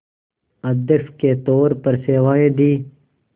अध्यक्ष के तौर पर सेवाएं दीं